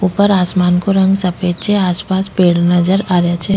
ऊपर आसमान को रंग सफ़ेद छे आस पास पेड़ नजर आ रिया छे।